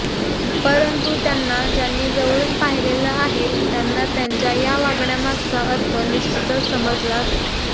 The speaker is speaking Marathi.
परंतु त्यांना ज्यांनी जवळून पाहिलेले आहे त्यांना त्यांच्या या वागण्यामागचा अर्थ निश्चितच समजला असता